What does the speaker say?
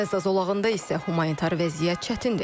Qəzza zolağında isə humanitar vəziyyət çətindir.